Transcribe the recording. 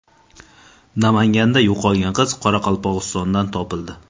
Namanganda yo‘qolgan qiz Qoraqalpog‘istondan topildi.